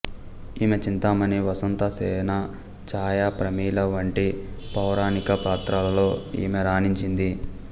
ఈమె చింతామణి వసంతసేన ఛాయ ప్రమీల వంటి పౌరాణిక పాత్రలలో ఈమె రాణించింది